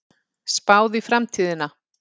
Spáð í framtíðina